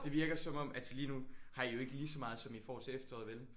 Det virker som om altså lige nu har I jo ikke lige så meget som I får til efteråret vel?